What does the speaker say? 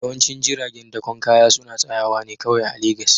Yawancin jiragen dakon kaya suna tsayawa ne kawai a Legas